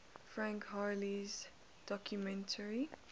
frank hurley's documentary